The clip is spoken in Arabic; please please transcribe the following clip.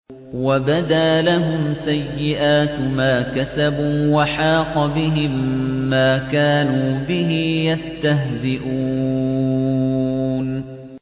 وَبَدَا لَهُمْ سَيِّئَاتُ مَا كَسَبُوا وَحَاقَ بِهِم مَّا كَانُوا بِهِ يَسْتَهْزِئُونَ